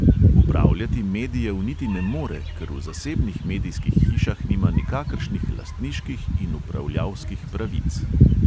Upravljati medijev niti ne more, ker v zasebnih medijskih hišah nima nikakršnih lastniških in upravljalskih pravic.